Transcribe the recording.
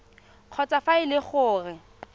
kgotsa fa e le gore